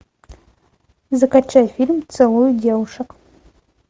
закачай фильм целуя девушек